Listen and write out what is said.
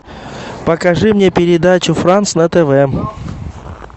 покажи мне передачу франс на тв